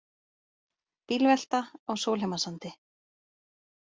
Bílvelta á Sólheimasandi